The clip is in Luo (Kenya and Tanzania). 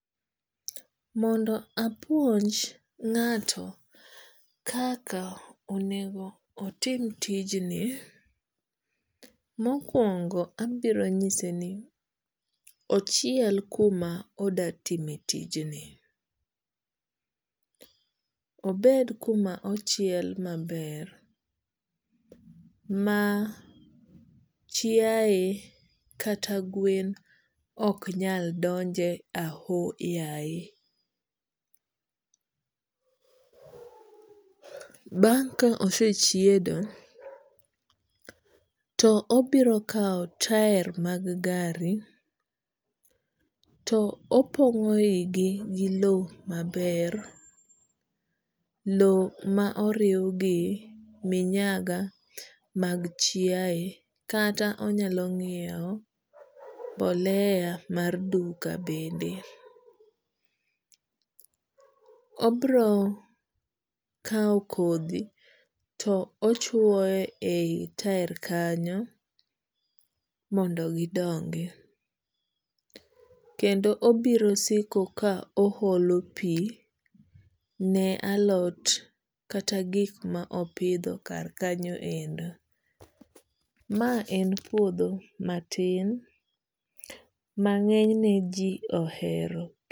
Mondo apuonj ngato kaka onego otim tijni. Mokuongo abiro ng'ise ni ochiel kuma odwa time tijni.,obed kuma ochiel ma ber ma chiaye kata gwen ok nyal donje ahoyaye . Bang ka osechiedo to obiro kawo tail mag gari to opongo iye gi gi lo ma ber lo ma oriw gi minyaga mag chiaye kata onyalo ng'iewo mbolea mag duka bende. Obiro kawo kodhi to chuoye e i tail kanyo mondo mi gi dongi kendo obiro siko ka oholo pi ne alot kata gik ma opidho kar kanyo endo. Ma en puodho ma tin ma ng'eny ne ji ohero.